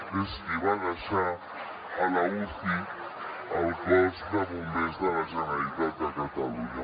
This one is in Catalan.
que és qui va deixar a la uci el cos de bombers de la generalitat de catalunya